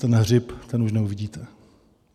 Ten hřib, ten už neuvidíte.